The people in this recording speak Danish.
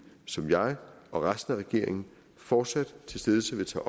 som jeg og resten af regeringen fortsat stedse vil tage